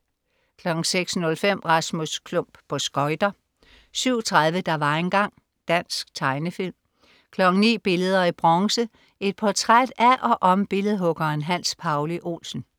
06.05 Rasmus Klump på skøjter 07.30 Der var engang. Dansk tegnefilm 09.00 Billeder i bronze. Et portræt af og om billedhuggeren Hans Pauli Olsen